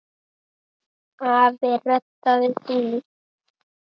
Afi reddaði því.